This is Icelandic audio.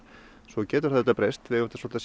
svo getur það auðvitað breyst við eigum svolítið